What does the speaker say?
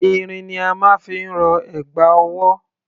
Irin ni a máa ń fi rọ ẹ̀gbà ọwọ́.